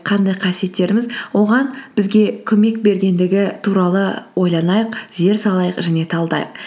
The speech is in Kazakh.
қандай қасиеттеріміз оған бізге көмек бергендігі туралы ойланайық зер салайық және талдайық